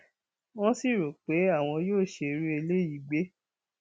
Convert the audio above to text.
wọn sì rò pé àwọn yóò ṣe irú eléyìí gbé